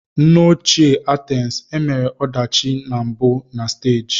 N'ochie Athens e mere ọdachi na mbụ na stagi.